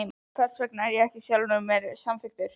Hversvegna var ég sjálfum mér svo sundurþykkur?